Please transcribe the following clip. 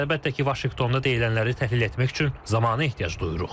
Biz əlbəttə ki, Vaşinqtonda deyilənləri təhlil etmək üçün zamana ehtiyac duyuruq.